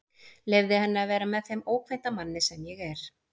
Leyfði henni að vera með þeim ókvænta manni sem ég er.